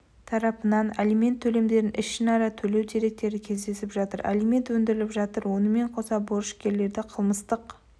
тарапынан алимент төлемдерін ішінара төлеу деректері кездесіп жатыр алимент өндіріліп жатыр онымен қоса борышкерлерді қылмыстық